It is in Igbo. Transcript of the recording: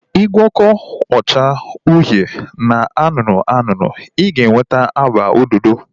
I gwọkọ ọcha uhie na anụnụ anụnụ, I ga-enweta agba ododo